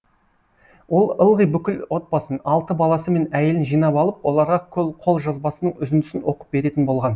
ол ылғи бүкіл отбасын алты баласы мен әйелін жинап алып оларға қолжазбасының үзіндісін оқып беретін болған